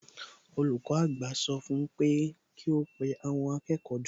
Olùkọ́ àgbà sọ fún un pé kí ó pe àwọn akẹ́kọ̀ọ́ jọ